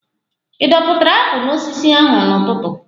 Ị dọpụtara apụl n'osisi ahụ n'ụtụtụ?